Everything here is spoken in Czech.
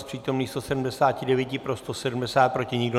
Z přítomných 179 pro 170, proti nikdo.